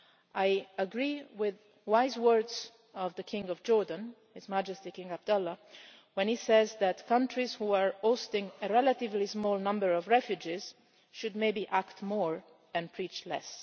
I agree with the wise words of the King of Jordan, His Majesty King Abdullah, when he says that countries that are hosting a relatively small number of refugees should maybe act more and preach less.